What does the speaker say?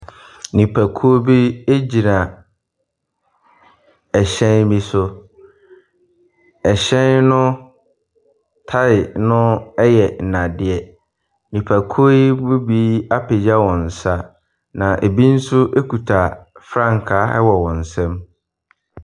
Nipakuo bi gyina ɛhyɛn bi so. Ɛhyɛn no tae no yɛ nnadeɛ. Nipakuo yi mu bi apagya wɔn nsa, na ɛbi nso kita frankaa wɔ wɔn nsam.